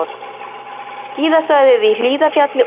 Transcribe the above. Skíðasvæðið í Hlíðarfjalli opið